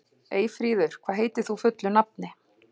Eyfríður, hvað heitir þú fullu nafni?